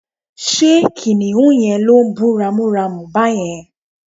ṣe kìnìhún yẹn lo ń bú ramúramù bàyẹn?